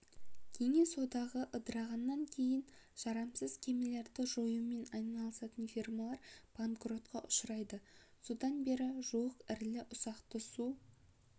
кеңес одағы ыдырағаннан кейін жарамсыз кемелерді жоюмен айналысатын фирмалар банкротқа ұшырайды содан бері жуық ірілі-ұсақты су